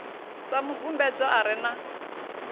sa mubvumbedzwa a re na